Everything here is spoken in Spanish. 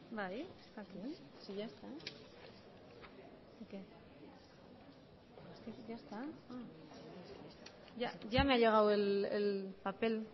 bai está aquí si ya está ya me ha llegado el papel